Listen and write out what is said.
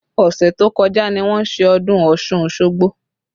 Ọsẹ tó kọjá ni wọ́n ṣe ọdún Ọ̀ṣun Osogbo